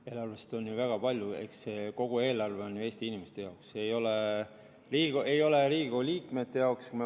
Eelarvest saab ju väga palju, eks kogu see eelarve on ju Eesti inimeste jaoks, see ei ole Riigikogu liikmete jaoks.